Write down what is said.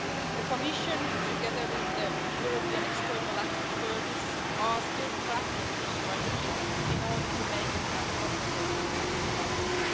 The Commission, together with the European External Action Service, are still drafting the strategy in order to make it as comprehensive as possible.